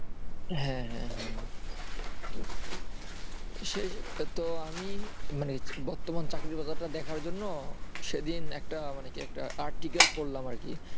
হ্যাঁ হ্যাঁ হ্যাঁ আমি বর্তমান চাকরির বাজারটা দেখার জন্য সেইদিন একটা মানে কি একটা article পড়লাম আরকি